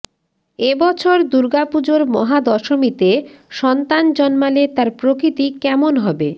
এ বছর দুর্গাপুজোর মহাদশমীতে সন্তান জন্মালে তার প্রকৃতি কেমন হবে